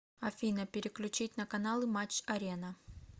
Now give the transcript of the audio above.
афина переключить на каналы матч арена